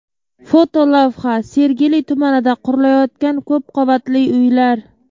Fotolavha: Sergeli tumanida qurilayotgan ko‘p qavatli uylar.